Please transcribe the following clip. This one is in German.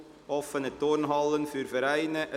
«Offene Turnhallen für Vereine».